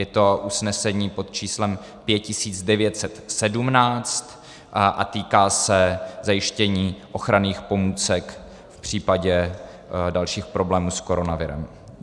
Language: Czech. Je to usnesení pod číslem 5917 a týká se zajištění ochranných pomůcek v případě dalších problémů s koronavirem.